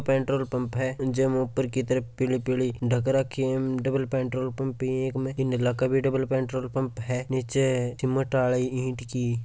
petrol pump है और जब मैं ऊपर की तरफ पीले पीले ढक रखे हैं डबल पेट्रोल पंप है एक में डबल पेट्रोल पंप है नीचे सीमेंट आले ईंट की --